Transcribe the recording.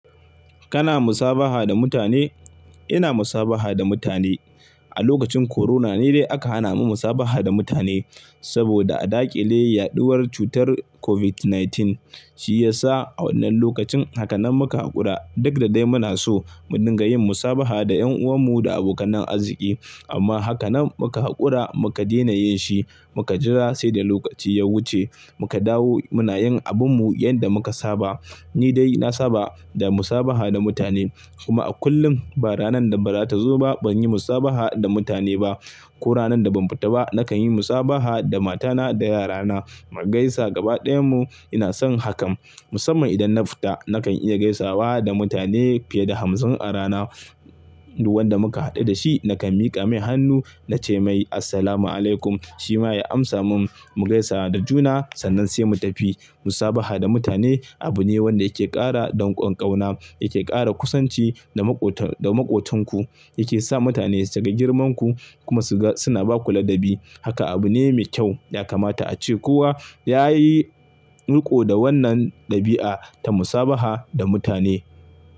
Kana musabaha da mutane? Ina musabaha da mutane. A lokacin corona ne dai aka hana mu musabaha da mutane saboda a dakile yaɗuwar cutar COVID-19. Shi ya sa a wannan lokacin haka nan muka haƙura. Duk da dai muna so mu dinga yin musabaha da 'yan'uwanmu da abokanan arziki amma haka nan muka haƙura muka daina yin shi, muka jira sai da lokaci ya wuce muka dawo muna yin abinmu yanda muka saba. Ni dai na saba da musabaha da mutane kuma a kullum ba ranar da ba za ta zo ba ban yi musabaha da mutane ba. Ko ranar da ban fita ba nakan yi musabaha da matana da yarana mu gaisa gabaɗayanmu ina son hakan. Musamman idan na fita nakan iya gaisawa da mutane fiye da hamsin a rana. Duk wanda muka haɗu da shi nakan miƙa mai hannu na ce mai "Assalamu alaikum", shi ma ya amsa mun mu gaisa da juna sannan sai mu tafi. Musabaha da mutane abu ne wanda yake ƙara donƙon ƙauna, yake ƙara kusanci da maƙot-da maƙotanku, yake sa mutane su ga girmanku kuma su ga suna ba ku ladabi. Haka abu ne mai kyau ya kamata ace kowa yayi riko da wannan ɗabi'a ta musabaha da mutane.